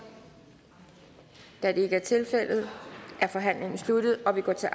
da det ikke er tilfældet er forhandlingen sluttet og vi går til